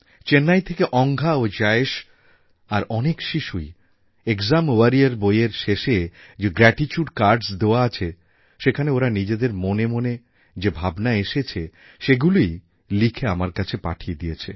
চেন্নাই থেকে অঙ্ঘা ও জায়েশ আর অনেক শিশুই একজাম ওয়ারিয়ার বইয়ের শেষে যে গ্রেটিটিউড কার্ডস দেওয়া আছে সেখানে ওরা নিজেদের মনে যে যে ভাবনা এসেছে সেগুলিই লিখে আমার কাছে পাঠিয়ে দিয়েছে